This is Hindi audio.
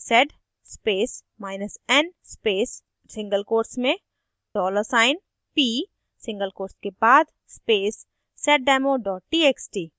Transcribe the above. sed spacen space single quotes में dollar चिन्ह $p single quotes के बाद space seddemo txt